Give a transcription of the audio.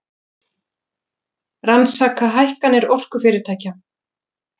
Rannsaka hækkanir orkufyrirtækja